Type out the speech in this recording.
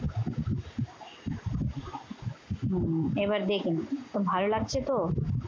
এবার দেখুন। ভালো লাগছে তো?